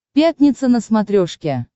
пятница на смотрешке